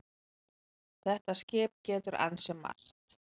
Þetta skip getur ansi margt.